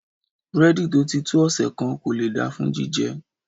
Búrẹ́dì tó ti tó ọ̀sẹ̀ kan kò lè da fún jíjẹ.